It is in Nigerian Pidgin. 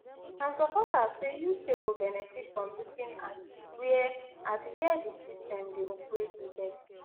and supporters say uk go benefit from looking at wia at wia di system di operate di best